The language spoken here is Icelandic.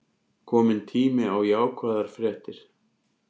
Kominn tími á jákvæðar fréttir